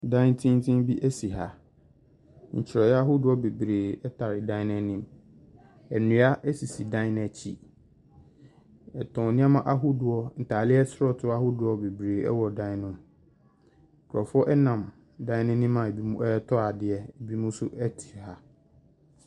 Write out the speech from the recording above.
Dan tenten bi si ha. Ntwerɛeɛ ahodoɔ bebree tare dan no anim. Nnua sisi dan no akyi. Wɔtɔn nneɛma ahodoɔ, ntaade asɔɔtoo ahodoɔ bebree wɔ dan no mu. Nkurɔfoɔ nam dan no anim a ebinom retɔ adeɛ, ebinom nso te ha.